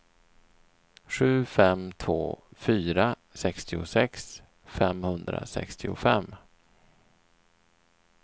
sju fem två fyra sextiosex femhundrasextiofem